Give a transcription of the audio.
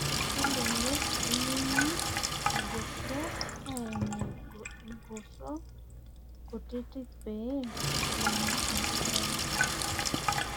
kelelek eyiengi irgoso aimie igoso kutitik pee eimu enkijiape.